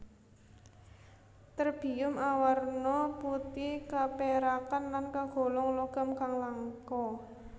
Terbium awarna putih kapérakan lan kagolong logam kang langka